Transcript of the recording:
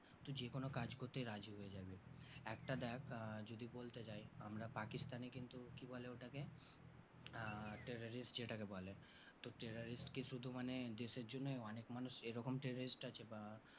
তুই যে কোনো কাজ করতে রাজি হয়ে যাবি একটা দেখ আহ যদি বলতে যাই আমরা পাকিস্থান কিন্তু কি বলে ওটাকে আহ terrorist যেটাকে বলে তো terrorist কি শুধু মানে দেশের জন্য অনেক মানুষ এই রকম terrorist আছে বা